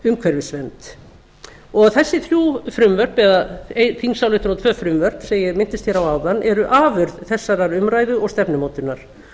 umhverfisvernd og þessi þrjú frumvörp eða þingsályktun og tvö frumvörp sem ég minntist á áðan eru afurð þessarar umræðu og stefnumótunar